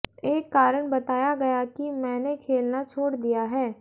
एक कारण बताया गया कि मैंने खेलना छोड़ दिया है